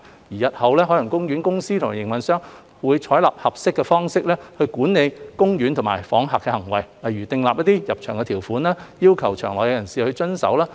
日後海洋公園公司和營運商會採納合適的方式管理公園及訪客的行為，例如訂立入場條款，要求場內人士遵守。